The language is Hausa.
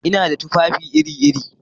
Ina da tufafi iri-iri.